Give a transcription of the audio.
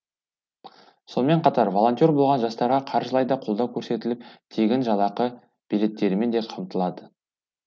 сонымен қатар волонтер болған жастарға қаржылай да қолдау көрсетіліп тегін жалақы билеттерімен де қамтылады